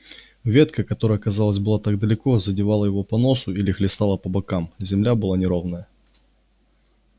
ветка которая казалось была так далеко задевала его по носу или хлестала по бокам земля была неровная